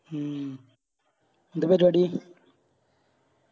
ഉം എന്താ പരിപാടി